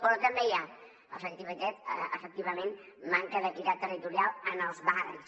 però també hi ha efectivament manca d’equitat territorial en els barris